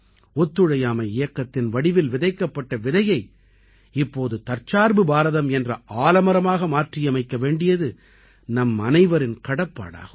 ஒத்துழையாமை இயக்கத்தின் வடிவில் விதைக்கப்பட்ட விதையை இப்போது தற்சார்பு பாரதம் என்ற ஆலமரமாக மாற்றியமைக்க வேண்டியது நம்மனைவரின் கடப்பாடாகும்